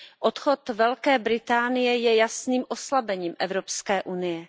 Odchod Velké Británie je jasným oslabením Evropské unie.